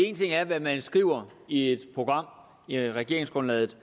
en ting er hvad man skriver i et program i regeringsgrundlaget